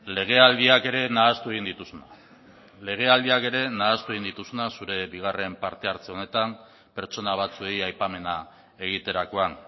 legealdiak ere nahastu egin dituzuna legealdiak ere nahastu egin dituzuna zure bigarren partehartze honetan pertsona batzuei aipamena egiterakoan